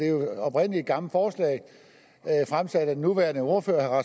jo oprindelig et gammelt forslag fremsat af den nuværende ordfører